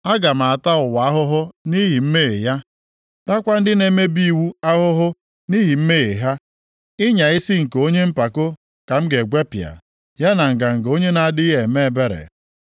Aga m ata ụwa ahụhụ nʼihi mmehie ya, taakwa ndị na-emebi iwu ahụhụ nʼihi mmehie ha. Ịnya isi nke onye mpako ka m ga-egwepịa, ya na nganga onye na-adịghị eme ebere.